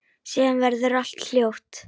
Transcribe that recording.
Síðan verður allt hljótt.